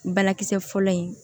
Banakisɛ fɔlɔ in